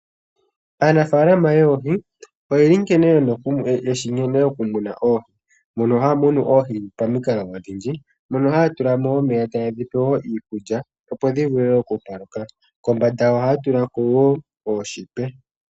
Aanafaalama yoohi oyeli yeshi nkene yena okumuna oohi ,mono haya munu oohi pamikalo odhindji mono haya tulamo omeya tayedhipe woo iikulya opo dhivule oku paluka. Kombanda oha ya tulako woo ooshipe.